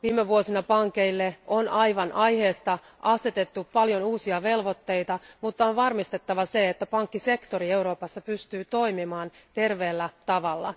Viime vuosina pankeille on aivan aiheesta asetettu paljon uusia velvoitteita, mutta on varmistettava se, että pankkisektori Euroopassa pystyy toimimaan terveellä tavalla.